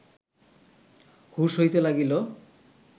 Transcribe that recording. হুঁশ হইতে লাগিল